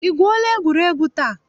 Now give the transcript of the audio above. I gwuola egwuregwu taa?